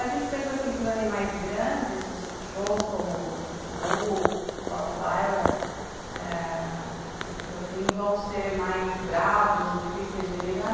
A gente pensa que os animais grandes, os cachorros como Pitbull, Rottweiler, ah... esses vão ser mais bravos e difíceis de lidar.